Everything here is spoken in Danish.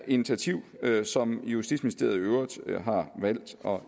initiativ som justitsministeriet i øvrigt har valgt at